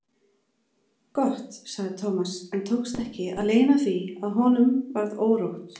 Gott sagði Thomas en tókst ekki að leyna því að honum varð órótt.